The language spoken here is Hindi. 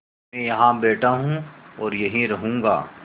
मैं यहाँ बैठा हूँ और यहीं रहूँगा